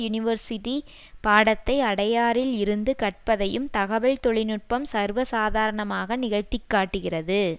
university பாடத்தை அடையாறில் இருந்து கற்பதையும் தகவல் தொழில்நுட்பம் சர்வசாதாரணமாக நிகழ்த்தி காட்டுகிறது